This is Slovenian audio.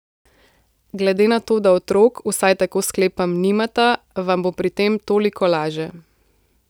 Glede na to, da otrok, vsaj tako sklepam, nimata, vam bo pri tem toliko laže.